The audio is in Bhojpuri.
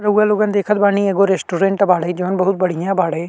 रउवा लोगन देखत बानी एगो रस्टोरैंट बाड़े जउन बहुत बढ़िया बाड़े।